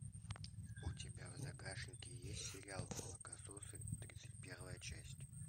у тебя в загашнике есть сериал молокососы тридцать первая часть